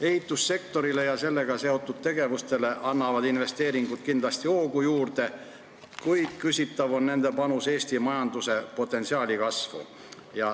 Ehitussektorile ja sellega seotud tegevustele annavad investeeringud kindlasti hoogu juurde, kuid küsitav on nende panus Eesti majanduse potentsiaali kasvu.